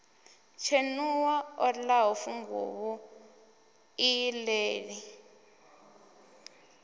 tshenuwa o ḽaho funguvhu iṱeli